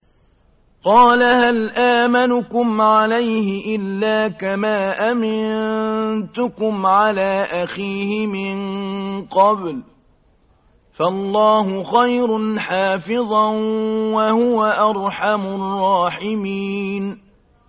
قَالَ هَلْ آمَنُكُمْ عَلَيْهِ إِلَّا كَمَا أَمِنتُكُمْ عَلَىٰ أَخِيهِ مِن قَبْلُ ۖ فَاللَّهُ خَيْرٌ حَافِظًا ۖ وَهُوَ أَرْحَمُ الرَّاحِمِينَ